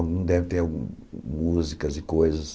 Algum deve ter músicas e coisas.